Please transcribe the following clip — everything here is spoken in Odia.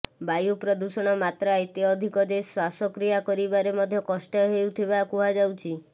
ବାୟୁ ପ୍ରଦୂଷଣ ମାତ୍ରା ଏତେ ଅଧିକ ଯେ ଶ୍ବାସକ୍ରିୟା କରିବାରେ ମଧ୍ୟ କଷ୍ଟ ହେଉଥିବା କୁହାଯାଉଛି